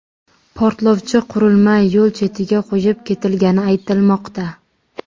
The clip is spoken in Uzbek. Portlovchi qurilma yo‘l chetiga qo‘yib ketilgani aytilmoqda.